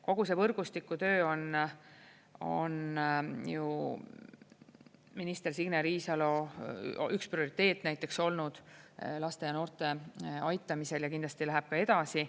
Kogu see võrgustikutöö on ju minister Signe Riisalo üks prioriteet näiteks olnud laste ja noorte aitamisel ja kindlasti läheb ka edasi.